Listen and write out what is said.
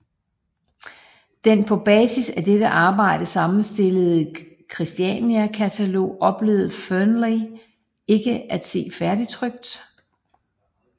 Den på basis af dette arbejde sammenstillede Kristiania katalog oplevede Fearnley ikke at se færdigtrykt